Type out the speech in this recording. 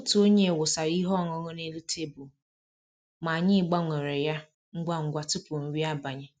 Otu onye wụsara ihe ọṅụṅụ n'elu tebụl, ma anyị gbanwere ya ngwa ngwa tupu nri abalị